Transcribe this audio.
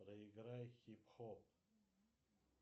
проиграй хип хоп